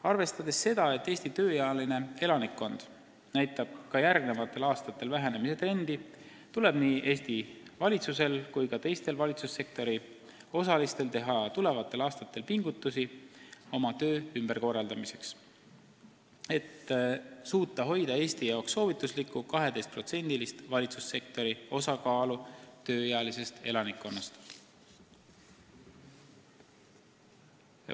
Arvestades seda, et Eesti tööealine elanikkond ka järgmistel aastatel väheneb, tuleb nii Eesti valitsusel kui ka teistel valitsussektori osalistel teha pingutusi oma töö ümberkorraldamiseks, et hoida Eesti jaoks soovituslikku olukorda, kus valitsussektori osakaal tööealises elanikkonnas on 12%.